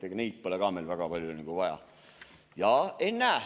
Ega neid pole ka meil väga palju vaja.